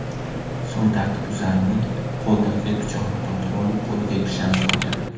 So‘ng tartibbuzarning qo‘lidagi pichoqni tortib olib, qo‘liga kishan solgan.